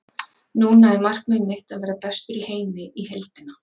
Núna er markmið mitt að verða bestur í heimi í heildina.